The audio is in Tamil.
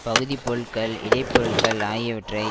பகுதி பொருட்கள் இடைப் பொருட்கள் ஆகியவற்வறை